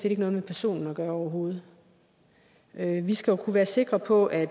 ikke noget med personen at gøre overhovedet vi skal jo kunne være sikre på at